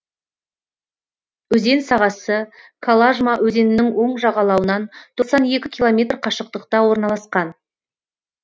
өзен сағасы калажма өзенінің оң жағалауынан тоқсан екі километр қашықтықта орналасқан